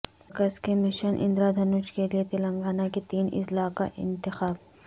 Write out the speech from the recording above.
مرکز کے مشن اندرادھنش کے لئے تلنگانہ کے تین اضلاع کا انتخاب